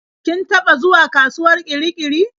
Kin taɓa zuwa kasuwar Kirikiri?